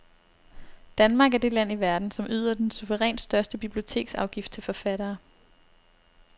Danmark er det land i verden, som yder den suverænt største biblioteksafgift til forfattere.